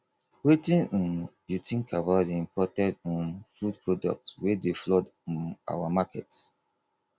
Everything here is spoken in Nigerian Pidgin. wetin um you think about di imported um food products wey dey flood um our markets